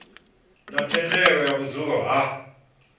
na thendelo ya vhudzulo ha